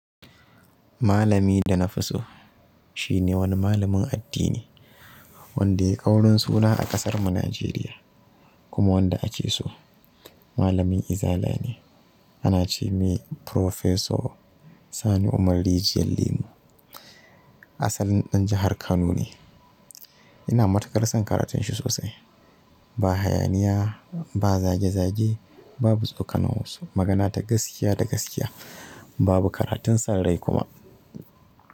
Malami da na fi so, shine wani malamin addini. Wanda ya yi ƙaurin suna a ƙasarmu Najeriya, kuma wanda ake so. Malamin izala ne. A na ce mai Professor Sani Umar rijiyar lemo. Asalin ɗan jahar Kano ne. Ina matukar son karatun shi sosai. Ba hayaniya, ba zage-zage, babu tsokano wasu. Magana ta gaskiya da gaskiya. Babu karatun son rai kuma.